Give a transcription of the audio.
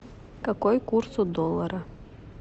какой курс у доллара